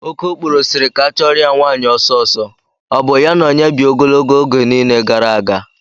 Okokporo siri ka achọrọ ya nwaanyị ọsọsọ, ọ bụ ya na onye bi ogologo oge niile gara aga?